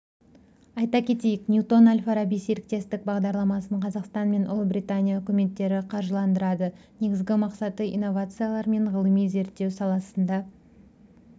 айта кетейік ньютон-әл-фараби серіктестік бағдарламасын қазақстан мен ұлыбритания үкіметтері қаржыландырады негізгі мақсаты инновациялар мен ғылыми-зерттеу саласында